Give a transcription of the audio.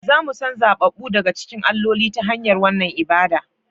Za mu san zaɓaɓɓu daga cikin alloli, ta hanyar wannan ibada